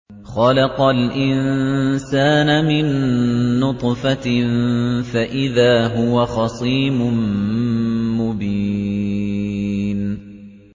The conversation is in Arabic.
خَلَقَ الْإِنسَانَ مِن نُّطْفَةٍ فَإِذَا هُوَ خَصِيمٌ مُّبِينٌ